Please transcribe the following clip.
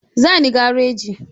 Za ni gareji.